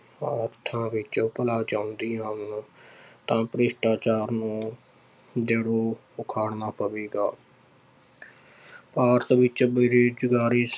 ਅਰਥਾਂ ਵਿੱਚ ਭਲਾ ਚਾਹੁੰਦੀ ਹਨ ਤਾਂ ਭ੍ਰਿਸ਼ਟਾਚਾਰ ਨੂੰ ਜੜੋਂ ਉਖਾੜਨਾ ਪਵੇਗਾ ਭਾਰਤ ਵਿੱਚ ਬੇਰੁਜ਼ਗਾਰੀ